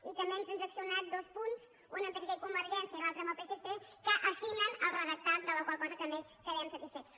i també hem transaccionat dos punts un amb psc i convergència i l’altre amb el psc que n’afinen el redactat de la qual cosa també quedem satisfets